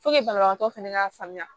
banabagatɔ fɛnɛ ka faamuya